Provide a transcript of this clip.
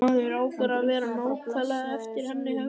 Maður á bara að vera nákvæmlega eftir hennar höfði.